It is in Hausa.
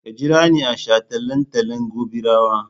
Ka jira ni a shataletalen Gobirawa!